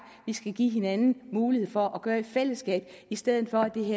vi skal give hinanden mulighed for at gøre i fællesskab i stedet for